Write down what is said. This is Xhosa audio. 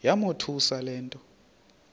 yamothusa le nto